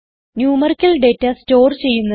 numerical data store ചെയ്യുന്നത്